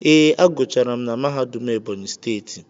Ee, a gụchara m na mahadum Ebonyi steeti.